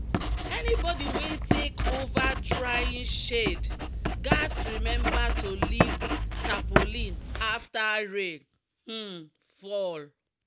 "anybody wey take over drying shed gats remember to lift tarpaulin after rain um fall."